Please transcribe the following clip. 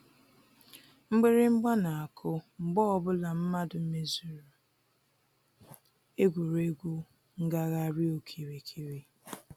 Mgbịrịgba na-akụ mgbe ọbụla mmadụ mezuru egwuregwu ngagharị okirikiri.